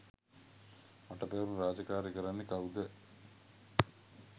මට පැවරුණු රාජකාරි කරන්නෙ කවුද?